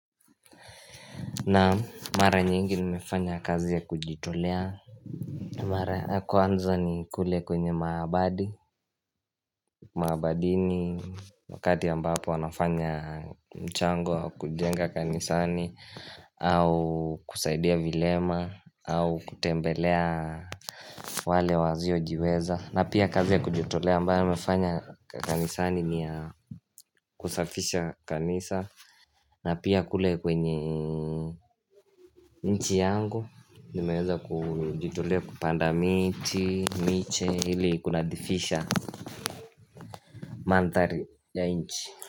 Naam mara nyingi nimefanya kazi ya kujitolea na mara ya kwanza ni kule kwenye maabadi Maabadini Wakati ambapo wanafanya mchango wa kujenga kanisani au kusaidia vilema au kutembelea wale wasio jiweza na pia kazi ya kujitolea ambayo nimefanya kanisani ni kusafisha kanisa na pia kule kwenye nchi yangu Nimeweza kujitolea kupanda miti, miche ili kunadhifisha manthari ya inchi.